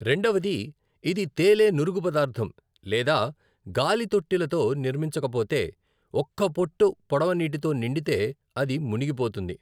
రెండవది, ఇది తేలే నురుగు పదార్ధం లేదా గాలి తొట్టి లతో నిర్మించకపోతే, ఒక్క పొట్టు పడవ నీటితో నిండితే అది మునిగిపోతుంది.